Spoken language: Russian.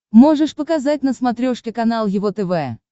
можешь показать на смотрешке канал его тв